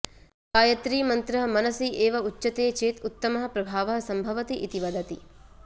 गायत्रीमन्त्रः मनसि एव उच्चते चेत् उत्तमः प्रभावः सम्भवति इति वदति